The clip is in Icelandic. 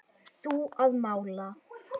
Þú að mála.